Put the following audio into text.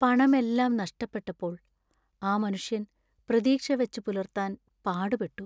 പണമെല്ലാം നഷ്‌ടപ്പെട്ടപ്പോൾ ആ മനുഷ്യൻ പ്രതീക്ഷ വച്ചുപുലർത്താൻ പാടുപെട്ടു .